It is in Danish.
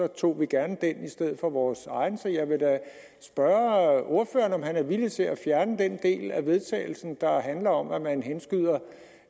tog vi gerne det i stedet for vores eget så jeg vil da spørge ordføreren om han er villig til at fjerne den del af vedtagelsen der handler om at man henskyder